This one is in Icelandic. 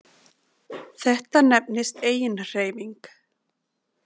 Þetta nefnist eiginhreyfing.